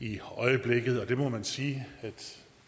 i øjeblikket og det må man sige